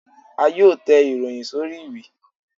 À yóò tè ìròyìn sorí ìwé